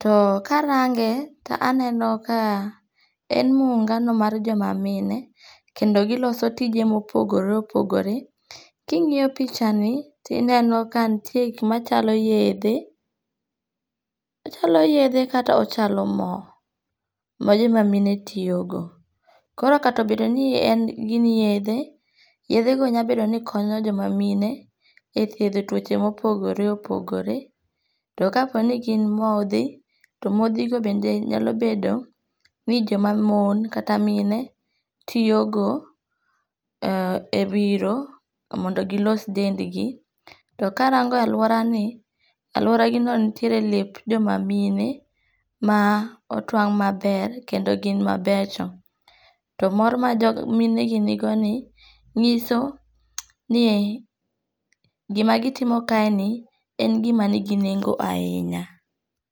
too karange' to aneno ka en muungano mar joma mine kendo giloso tije ma opogore opogore, kingi'yo pichani to ineno kanitie gik machalo yethe, ochalo yethe kata ochalo mo, ma joma mine tiyogo, koro kata obedo ni giniyethe yethego nyalo bedo ni konyo joma mine e thietho tuoche ma opogore opogore, to ka po ni gin mothi to mothigo bende nyalo bedo ni joma mon kata mine tiyogo e wiro mondo gi los dendgi , to karango' aluorani aluoragino nitiere lep joma mine ma otwang' maber kendo gin mabecho, to mor ma minegi nigoni nyiso ni gimagitimo kae ni en gima nigi nengo' ahinya.